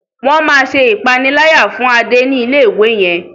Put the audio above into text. Wón má ṣe ìpaniláyà fún Ade ní ilé-ìwé yén.